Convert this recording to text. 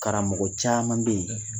Karamɔgɔ caman bɛ ye